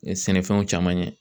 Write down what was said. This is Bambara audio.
Sɛnɛfɛnw caman ye